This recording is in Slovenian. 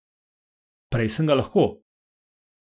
Prej sem ga lahko.